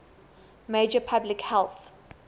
major public health